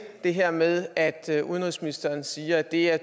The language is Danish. det her med at at udenrigsministeren siger at det er